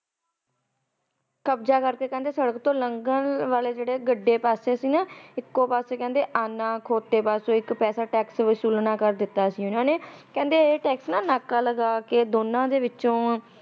ਕਬਜਾ ਕਰਕੇ ਕਹਿੰਦੇ ਸੜਕ ਤੋ ਲੰਘਣ ਵਾਲੇ ਜਿਹੜੇ ਗੱਡੇ ਪਾਸੇ ਇਕੋ ਪਾਸੇ ਆਨਾ ਤੇ ਖਾਤੇ ਪਾਸੇ ਪੈਸਾ ਵਿਸੂਲਣਾ ਸੁਰੂ ਕਰ ਦਿੱਤਾ ਸੀ ਉਨਾ ਨੇ ਇਹ ਟੈਕਸ ਨਾਕਾ ਲਗਾ ਕੇ ਦੋਨਾ ਦੇ ਵਿਚੋ